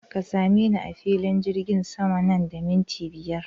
Ka same ni a filin jirgin sama nan da minti biyar!